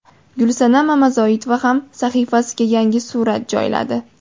Gulsanam Mamazoitova ham sahifasiga yangi surat joyladi.